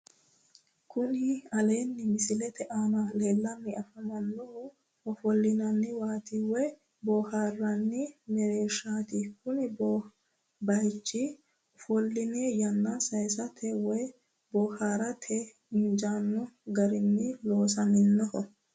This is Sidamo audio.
Kuni aleennni misilete aana leellanni afannohu ofollinanniwaati woyi boohaarranni mereershaati kuni baychi ofolline yanna saysate woyi boohaarate injaanno garinni loosaminoho